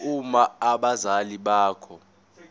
uma abazali bakho